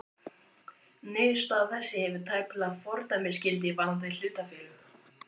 Niðurstaða þessi hefur tæplega fordæmisgildi varðandi hlutafélög.